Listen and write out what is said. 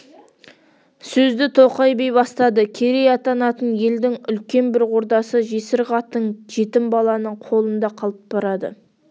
сөзді тоқай би бастадыкерей атанатын елдің үлкен бір ордасы жесір қатың жетім баланың қолында қалып барады